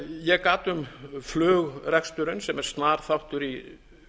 ég gat um flugreksturinn sem er snar þáttur í